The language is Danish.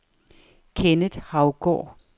Kenneth Haugaard